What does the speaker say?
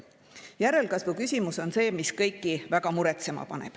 Järelkasvu küsimus on see, mis kõiki väga muretsema paneb.